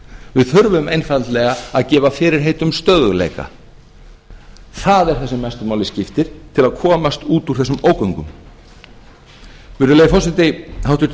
við þurfum einfaldlega að gefa fyrirheit um stöðugleika það er það sem mestu máli skiptir til að komast út úr þessum ógöngum virðulegi forseti háttvirtur